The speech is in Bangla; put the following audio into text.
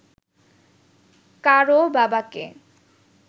কারও বাবাকে